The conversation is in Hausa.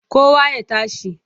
Kowa ya tashi!